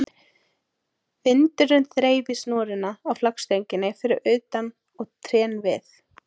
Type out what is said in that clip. Vindurinn þreif í snúruna á flaggstönginni fyrir utan og trén við